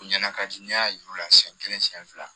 U ɲɛna ka di n y'a yir'u la siɲɛ kelen siɲɛ fila